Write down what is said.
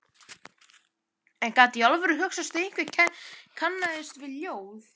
En gat í alvöru hugsast að einhver kannaðist við ljóð